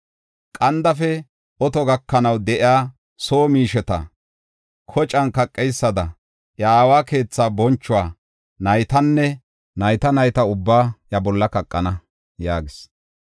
Qandafe oto gakanaw de7iya soo miisheta, kocan kaqeysada, iya aawa keethaa bonchuwa, naytanne, nayta nayta ubbaa iya bolla kaqana” yaagis.